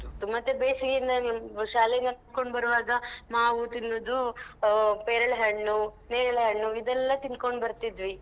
ಅದು ಮತ್ತೆ ಬೇಸಿಗೆ ಶಾಲೆಗೆ ನಡ್ಕೊಂಡ್ ಬರುವಾಗ ಮಾವು ತಿನ್ನುದು ಆ ಪೇರಳೆ ಹಣ್ಣು, ನೇರಳೆ ಹಣ್ಣು ಇದೆಲ್ಲಾ ತಿನ್ಕೊಂಡು ಬರ್ತಿದ್ವಿ.